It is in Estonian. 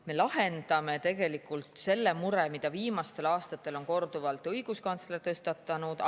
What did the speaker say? Me lahendame selle mure, mida viimastel aastatel on korduvalt tõstatanud õiguskantsler.